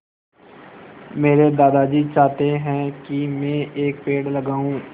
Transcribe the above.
मेरे दादाजी चाहते हैँ की मै एक पेड़ लगाऊ